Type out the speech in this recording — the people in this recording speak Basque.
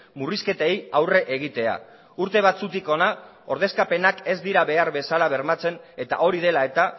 murrizketei aurre egitea urte batzutik hona ordezkapenak ez dira behar bezala bermatzen eta hori dela eta